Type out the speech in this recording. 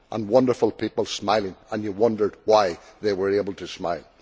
Wonderful people smiling and you wondered why they were able to smile.